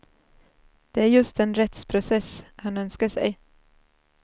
Det är just en rättsprocess han önskar sig.